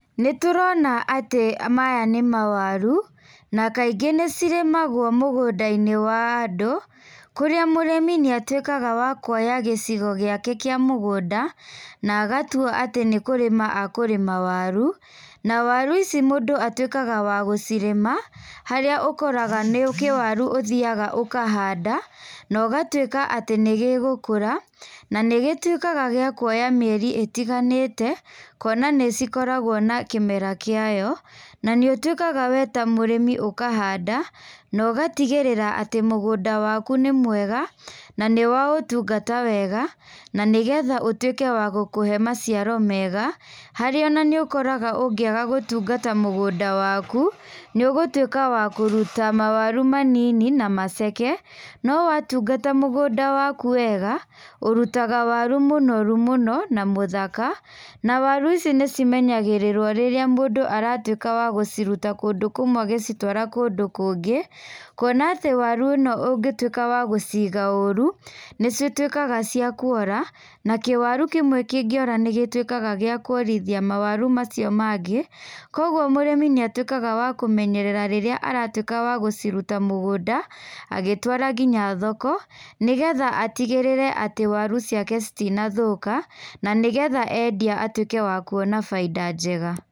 Nĩ tũrona atĩ maya nĩ mawaru, na kaingĩ nĩ cirĩmagwo mũgũndainĩ wa andũ, kũrĩa mũrĩmi nĩ atuĩkaga wa kũoya gĩcigo gĩake kĩa mũgũnda, na agatua atĩ nĩ kũrĩma akũrĩma waru, na waru ici mũndũ atuĩkaga wa gũcirĩma, harĩa ũkoraga nĩ kĩwaru ũthiaga ũkahanda, na ũgatuĩka atĩ nĩgĩgũkũra, na nĩ gĩtuĩkaga gĩa kũoya mĩeri ĩtiganĩte, kuona nĩ cikoragwo na kĩmera kĩayo. Na nĩ ũtuĩkaga we ta mũrĩmi ũkahanda na ũgatigĩrĩra atĩ mũgũnda waku nĩ mwega na nĩ wa ũtungata wega na nĩ getha ũtuĩke wa gũkũhe maciaro mega haria ona nĩ ũkoraga ona ũngĩaga gũtungata mũgũnda waku, nĩ ũgũtuĩka wa kũruta mawaru manini na maceke no watungata mũgũnda waku wega ũrutaga wau mũnoru mũno na mũthaka na waru ici nĩ cimenyagĩrĩrwo rĩrĩra mũndũ aratũĩka wagũciruta kũndũ kũmwe ũgĩcitwara kũndũ kũngĩ. Kuona atĩ waru ĩno ũngĩtuĩka wagũciga ũru, nĩ cituĩkaga cia kuora, na kĩwaru kĩmwe kĩngĩora nĩgĩtuĩkaga gĩa kuorĩthia mawaru macio mangĩ, koguo mũrĩmĩ nĩ atuĩkaga wa kũmenyerera rĩrĩa aratuĩka wagũciruta mũgũnda, agĩtwara ngĩnya thoko, nĩ getha atigĩtĩre atĩ waru ciake citinathũka, na nĩgetha endia atuĩke wa kuona baida njega.